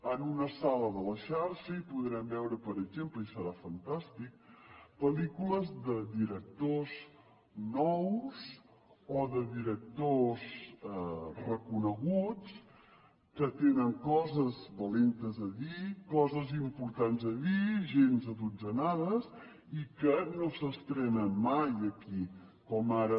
en una sala de la xarxa hi podrem veure per exemple i serà fantàstic pel·lícules de directors nous o de directors reconeguts que tenen coses valentes a dir coses importants a dir gens adotzenades i que no s’estrenen mai aquí com ara